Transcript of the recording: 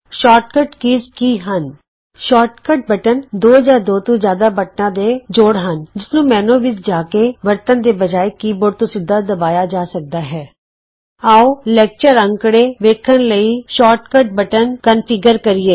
short ਕੱਟ button ਕੀ ਹਨ160 ਸ਼ੌਰਟ ਕੱਟ ਬਟਨ ਦੋ ਜਾਂ ਦੋ ਤੋਂ ਜਿਆਦਾ ਬਟਨਾਂ ਦੇ ਜੋੜ ਮਿਸਰਣ ਹਨ ਜਿਸਨੂੰ ਮੈਨਯੂ ਵਿਚ ਜਾ ਕੇ ਵਰਤਣ ਦੇ ਬਜਾਏ ਕੀਬੋਰਡ ਤੋਂ ਸਿੱਧਾ ਦਬਾਇਆ ਜਾ ਸਕਦਾ ਹੈ ਆਉ ਲੈਕਚਰ ਅੰਕੜੇ ਵੇਖਣ ਲਈ ਸ਼ੌਰਟ ਕੱਟ ਬਟਨ ਕਨਫੀਗਰ ਕਰਿਏ